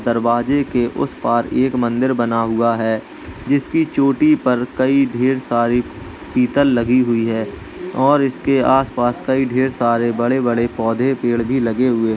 दरवाजे के उस पार एक मंदिर बना हुआ है। जिसकी चोटी पर कई ढेर सारी पीतल लगी हुई है और इसके आसपास कई सारे बड़े बड़े पौधे पेड़ भी लगे हुए --